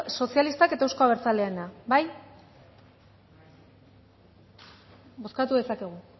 sozialistak eta euzko abertzaleena bai bozkatu dezakegu